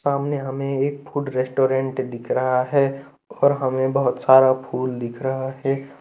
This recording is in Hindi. सामने हमें एक फूड रेस्टोरेंट दिख रहा है और हमें बहुत सारा फूड दिख रहा है।